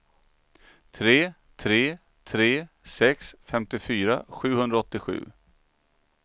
tre tre tre sex femtiofyra sjuhundraåttiosju